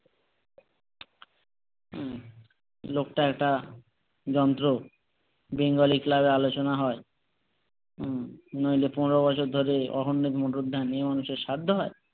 লোকটা এটা যন্ত্র বেঙ্গলি ক্লাব এ আলোচনা হয়, হম নইলে পনেরো বছর ধরে অখুন্দ মানুষের সাধ্য হয়?